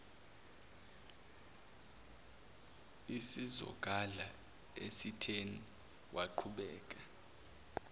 isizogadla esitheni waqhubeka